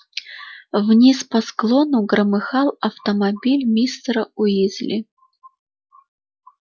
вниз по склону громыхал автомобиль мистера уизли